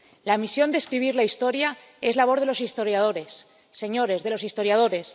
La misión de escribir la historia es labor de los historiadores, señorías, de los historiadores.